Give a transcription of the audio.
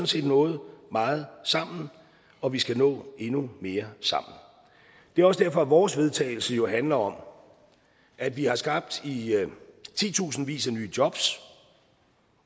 set nået meget sammen og vi skal nå endnu mere sammen det er også derfor at vores vedtagelse jo handler om at vi har skabt i titusindvis af nye jobs